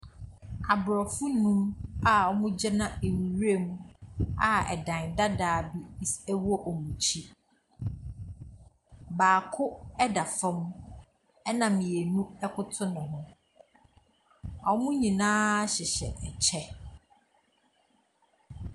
Abrɔfo num a ɔmo gyina nwuram a ɛdan dadaa bi ɛwɔ ɔmo akyi. Baako ɛda fɔm, ɛna mmienu ɛkoto ne ho. Ɔmo nyinaa hyehyɛ ɛkyɛ.